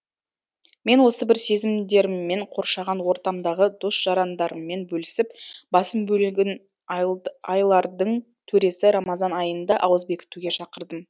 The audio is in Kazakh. мен осы бір сезімдеріммен қоршаған ортамдағы дос жарандарыммен бөлісіп басым бөлігін айлардың төресі рамазан айында ауыз бекітуге шақырдым